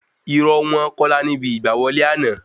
Irọ́ wọ́n kọlà níbi ìgbà wọlé àná